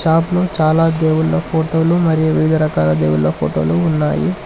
Shop లో చాలా దేవుళ్ళ ఫోటోలు మరియు వివిధ రకాల దేవుళ్ళ ఫోటోలు ఉన్నాయి.